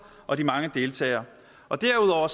og de mange deltagere derudover